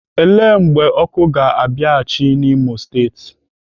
Ele mgbe ọkụ ga-abịaghịchi n'Imo steeti?